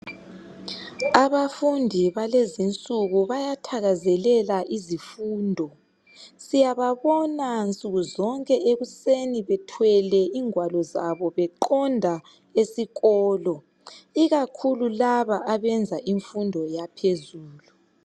Abafufundi balezi insuku bayathakazelela izifundo. Siyababona nsukuzonke ekuseni bethwele ingwalo zabo beqonda esikolo ikakhulu laba abayenza imfundo yaphezelu.